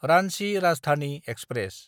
Ranchi Rajdhani express